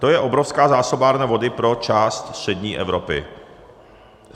To je obrovská zásobárna vody pro část střední Evropy.